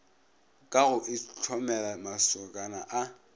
ka go itlhomela mašokana a